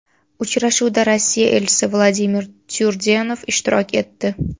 Uchrashuvda Rossiya elchisi Vladimir Tyurdenov ishtirok etdi.